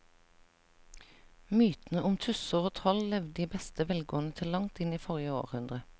Mytene om tusser og troll levde i beste velgående til langt inn i forrige århundre.